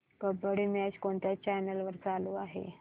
kabaddi match कोणत्या channel वर चालू आहे